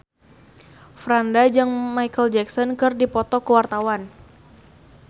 Franda jeung Micheal Jackson keur dipoto ku wartawan